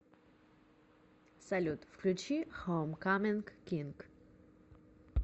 салют включи хоумкаминг кинг